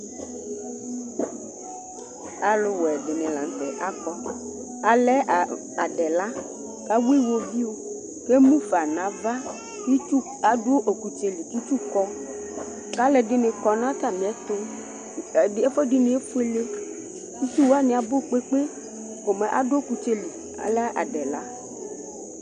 Alʋwɛ dɩnɩ la nʋ tɛ akɔ Alɛ adɛla kʋ awʋ iɣoviu kʋ emu fa nʋ ava Itsu adʋ ɔkʋtsɛ li kʋ itsu kɔ kʋ alʋɛdɩnɩ kɔ nʋ atamɩɛtʋ Ɛdɩ, ɛfʋɛdɩnɩ efuele Itsu wanɩ abʋ kpekpe Komɛ adʋ ɔkʋtsɛ li, alɛ adɛla